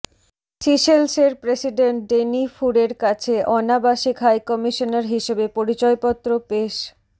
সিশেলসের president Danny ফুরের কাছে অনাবাসিক হাইকমিশনার হিসেবে পরিচয়পত্র পেশ